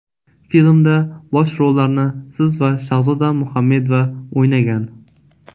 Filmda bosh rollarni siz va Shahzoda Muhamedova o‘ynagan.